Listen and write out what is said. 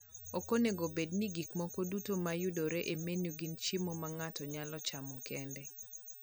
ok onego obed ni gik moko duto ma yudore e menu gin chiemo ma ng'ato nyalo chamo kende